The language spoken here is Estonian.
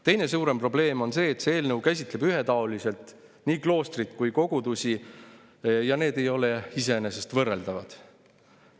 Teine suurem probleem on see, et see eelnõu käsitleb ühetaoliselt nii kloostrit kui ka kogudusi, aga need ei ole iseenesest võrreldavad.